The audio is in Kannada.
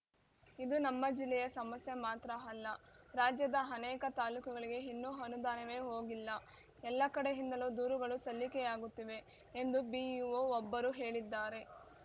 ಇದು ನಮ್ಮ ಜಿಲ್ಲೆಯ ಸಮಸ್ಯೆ ಮಾತ್ರ ಅಲ್ಲ ರಾಜ್ಯದ ಅನೇಕ ತಾಲೂಕುಗಳಿಗೆ ಇನ್ನೂ ಅನುದಾನವೇ ಹೋಗಿಲ್ಲ ಎಲ್ಲ ಕಡೆಯಿಂದಲೂ ದೂರುಗಳು ಸಲ್ಲಿಕೆಯಾಗುತ್ತಿವೆ ಎಂದು ಬಿಇಒ ಒಬ್ಬರು ಹೇಳಿದ್ದಾರೆ